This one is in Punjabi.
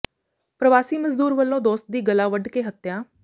ਪਰਵਾਸੀ ਮਜ਼ਦੂਰ ਵੱਲੋਂ ਦੋਸਤ ਦੀ ਗਲਾ ਵੱਢ ਕੇ ਹੱਤਿਆ